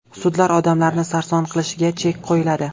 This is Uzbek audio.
Sudlar odamlarni sarson qilishiga chek qo‘yiladi.